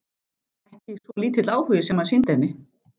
Ekki svo lítill áhugi sem hann sýndi henni!